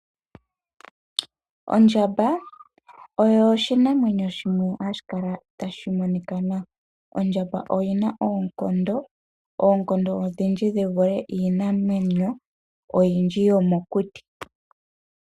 Ondjamba oyo oshinanwenyo shimwe hashi kala tashi monika nawa. Ondjamba oyina oonkondo odhindji yi vule iinamwenyo oyindji yomokuti.